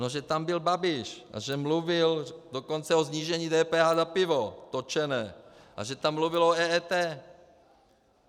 No že tam byl Babiš a že mluvil dokonce o snížení DPH na pivo, točené, a že tam mluvil o EET.